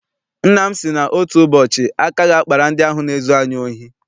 Nna m sị na otu ụbọchị aka ga- akpara ndị ahụ na-ezu anyị ohi.